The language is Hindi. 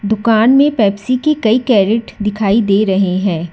दुकान में पेप्सी की कई कैरेट दिखाई दे रहे हैं।